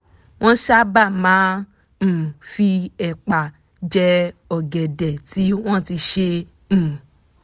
wọ́n sábà máa um fi ẹ̀pà je ọ̀gẹ̀dẹ̀ tí wọ́n ti sè um